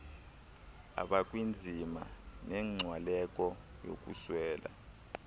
abakwinzima nenkxwaleko yokuswela